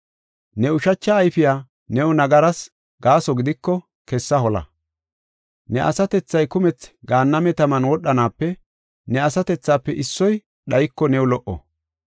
Ne ushacha ayfey new nagaras gaaso gidiko, kessa hola. Ne asatethay kumethi gaanname taman wodhanaape ne asatethafe issoy dhayiko new lo77o.